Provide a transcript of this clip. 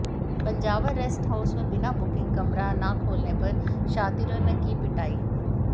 Panjawar rest house में बिना booking कमरा न खोलने पर शातिरों ने की पिटाई